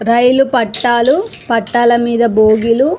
రైలు పట్టాలు పట్టాల మీద బోగీలు --